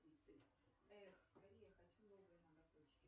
эх скорее хочу новые ноготочки